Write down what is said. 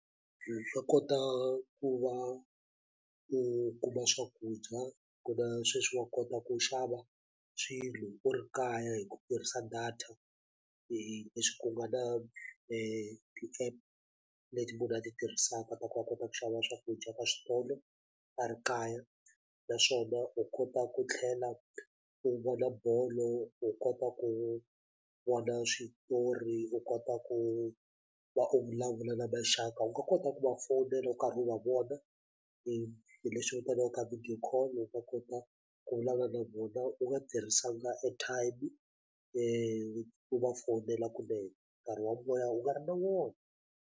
swa kota ku va u kuma swakudya ku na sweswi wa kota ku xava swilo u ri kaya hi ku tirhisa data leswi ku nga na ti-app leti mi nga ti tirhisaka ta ku a kota ku xava swakudya ka switolo a ri kaya naswona u kota ku tlhela ku vona bolo u kota ku vona switori u kota ku va u vulavula na maxaka u nga kota ku va fowunela u karhi u va vona hi leswi vitaniwaka video call u nga kota ku vulavula na vona u nga tirhisanga airtime u va fowunela kunene nkarhi wa u nga ri na wona.